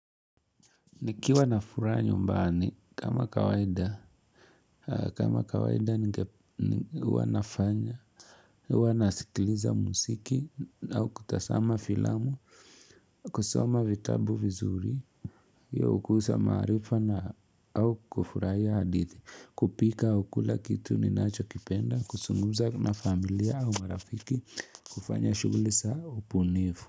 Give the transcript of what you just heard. Nikiwa nafuraha nyumbani kama kawaida, kama kawaida ni wanafanya, wanasikiliza musiki au kutasama filamu, kusoma vitabu vizuri, ya ukusa marifa na au kufurahia hadithi, kupika au kula kitu ninacho kipenda, kusunguza na familia au marafiki, kufanya shughuli zao upunifu.